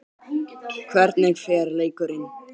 Hvernig fer leikurinn?